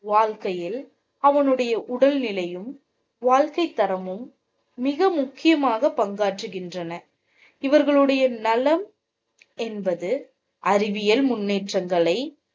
வாழ்க்கையில், அவனுடைய உடல் நிலையும், வாழ்க்கை தரமும் மிக முக்கியமாக பங்காற்றுகின்றன. இவர்களுடைய நலம் என்பது அறிவியல் முன்னேற்றங்களை